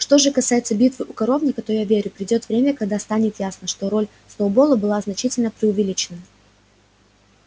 что же касается битвы у коровника то я верю придёт время когда станет ясно что роль сноуболла была значительно преувеличена